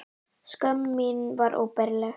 Skömm mín var óbærileg.